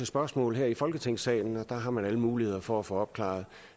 spørgsmål her i folketingssalen og der har man alle muligheder for at få opklaret